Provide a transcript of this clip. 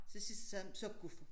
Til sidst sagde jamen så gå for